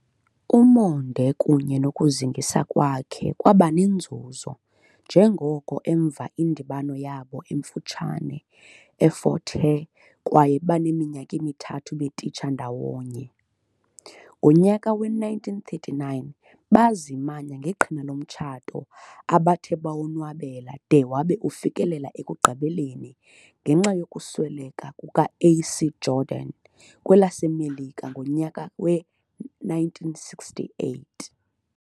Umonde kunye nokuzingisa kwakhe kwabanenzuzo njengoko emva indibano yabo emfutshane eFort Hare kwaye beneminyaka emithathu betitsha ndawonye, ngonyaka we 1939 bazimanya ngeqhina lomtshato abathe bawonwabela de wabe ufikelela ekugqibeleni ngenxa yokusweleka kuka A.C Jordan kwelaseMelika ngonyaka we-1968."